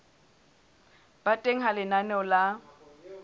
ba teng ha lenaneo la